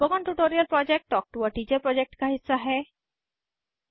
spoken tutorial project talk to a teacher project का हिस्सा है